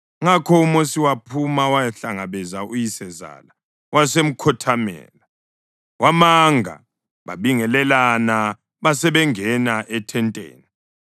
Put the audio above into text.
Ngakho uMosi waphuma wayahlangabeza uyisezala wasemkhothamela, wamanga. Babingelelana basebengena ethenteni.